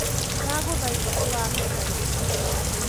ni ndagũthaitha ũthamie tarĩki ciothe ũndũ-inĩ